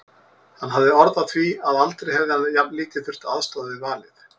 Hann hafði orð á því að aldrei hefði hann jafnlítið þurft að aðstoða við valið.